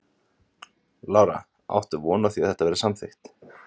Lára: Áttu von á því að þetta verði samþykkt?